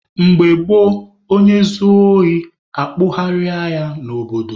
Mgbe gboo, onye zuo ohi, akpụgharịa ya n'obodo.